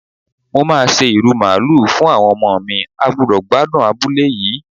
Mo máa se ìrù Màálù fún àwọn ọmọ mi, a gbúdọ̀ gbádùn abúlé yìí.